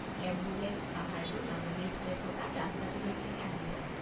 Ambulance পাহাৰটোৰ নামনিৰ ফালে থকা ৰাস্তাটোলৈকেহে আহিব।